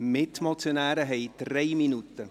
Mitmotionäre haben 3 Minuten Redezeit!